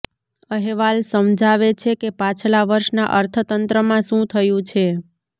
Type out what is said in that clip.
અહેવાલ સમજાવે છે કે પાછલા વર્ષના અર્થતંત્રમાં શું થયું છે